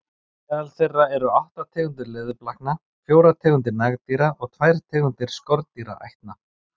Meðal þeirra eru átta tegundir leðurblakna, fjórar tegundir nagdýra og tvær tegundir skordýraætna.